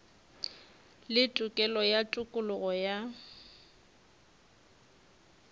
le tokelo ya tokologo ya